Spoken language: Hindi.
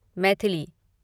मैथिली